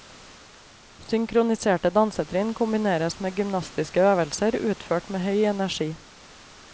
Synkroniserte dansetrinn kombineres med gymnastiske øvelser utført med høy energi.